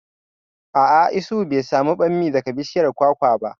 A'a, Isuhu bai samu bammi daga bishiyar kwakwa ba